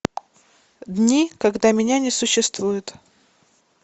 дни когда меня не существует